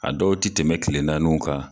A dɔw ti tɛmɛ kelen naanun kan.